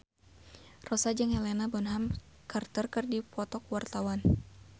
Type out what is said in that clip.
Rossa jeung Helena Bonham Carter keur dipoto ku wartawan